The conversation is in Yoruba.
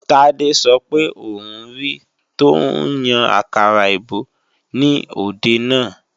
Tádé sọ pé òun ri tọ́ ń yan àkàrà èbó ní òde náà